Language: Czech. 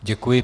Děkuji.